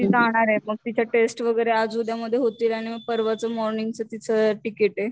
ती जाणारे मग तिच्या टेस्ट वगैरे आज उद्या मध्ये होतील आणि मग परवाच मॉर्निंगच तीच तिकिटे